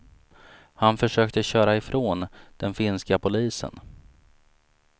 Han försökte köra ifrån den finska polisen.